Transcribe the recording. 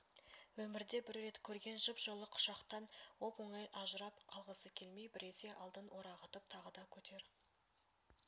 өмірде бір рет көрген жып-жылы құшақтан оп-оңай ажырап қалғысы келмей біресе алдын орағытып тағы да көтер